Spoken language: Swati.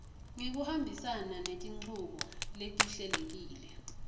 ngekuhambisana netinchubo letihlelekile